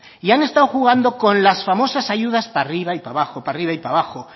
y han estado jugando con las famosas ayudas para arriba y para abajo para arriba y para abajo